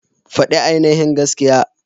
Fadi ainihin gaskiya.